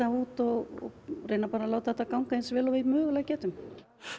út og reynum að láta þetta ganga eins vel og við mögulega getum